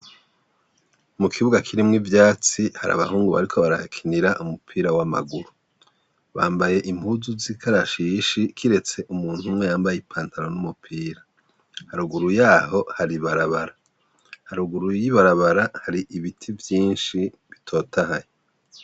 Mu kibuga kirimwo ivyatsi, hari abahungu bariko barahakinira umupira w'amagururu. Bambaye impuzu z'ikarashishi kiretse umuntu umwe yambaye ipantaro n'umupira. Haruguru yaho hari ibarabara, haruguru y'ibarabara hari ibiti vyinshi bitotahaye.